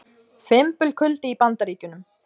Fimbulkuldi í Bandaríkjunum